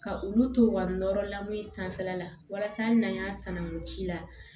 Ka olu to u ka nɔrɔ lamɔli sanfɛ la walasa hali n'an y'a san o ji la